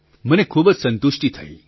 મને ખૂબ જ સંતુષ્ટિ થઇ